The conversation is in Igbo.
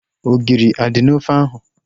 Ogiri a dị n'ofe ahu?